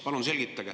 Palun selgitage.